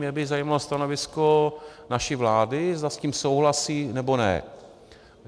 Mě by zajímalo stanovisko naší vlády, zda s tím souhlasí, nebo ne.